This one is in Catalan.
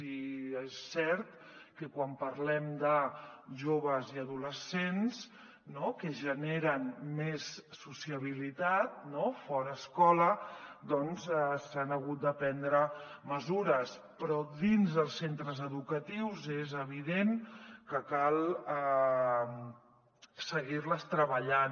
i és cert que quan parlem de joves i adolescents no que generen més sociabilitat fora de l’escola doncs s’han hagut de prendre mesures però dins dels centres educatius és evident que cal seguir les treballant